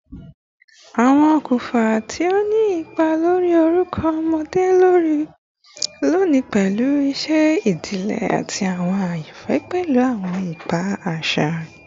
Awọn okunfa ti o ni ipa lori orukọ ọmọde loni le pẹlu iṣẹ idile ati awọn ayanfẹ pẹlu awọn ipa aṣa.